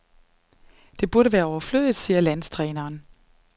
Det burde være overflødigt, siger landstræneren.